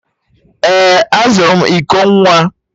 Ee, azụrụ m iko nwa